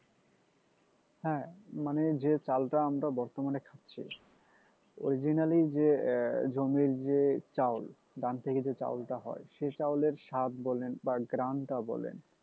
হ্যাঁ মানে যে চালটা আমরা বর্তমানে খাচ্ছি originally যে জমির যে চাউল ধান থেকে যে চাউলটা হয় সে চাউল এর স্বাদ বলেন বা ঘ্রানটা বলেন